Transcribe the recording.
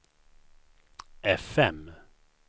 fm